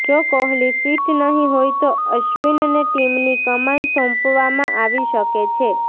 જો કોહલી ફિટ નહીં હોય તો અશ્વિનને ટીમની કમાન સોંપવામાં આવી શકે છે